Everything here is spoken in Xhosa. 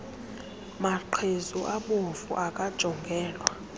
maqhezu abomvu akajongelwa